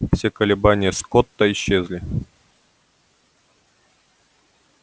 все колебания скотта исчезли